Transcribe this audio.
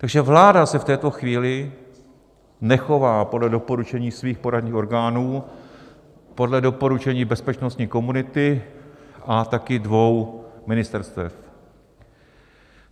Takže vláda se v této chvíli nechová podle doporučení svých poradních orgánů, podle doporučení bezpečnostní komunity a taky dvou ministerstev.